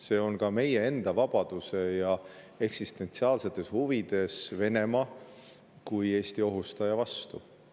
See on ka meie enda vabaduse ja eksistentsiaalsetes huvides Venemaa kui Eesti ohustaja vastu.